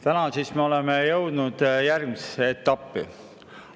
Täna me siis oleme jõudnud järgmisesse etappi.